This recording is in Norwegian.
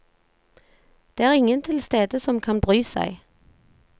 Det er ingen tilstede som kan bry seg.